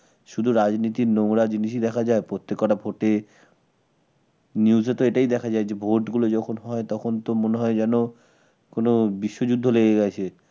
শুধু রাজনীতির নোংরা জিনিসই দেখা যায় প্রত্যেক কটা news তো এটাই দেখা যায় যে ভোট গুলো যখন হয় তখন তো মনে হয় যেন কোন বিশ্বযুদ্ধ লেগে গেছে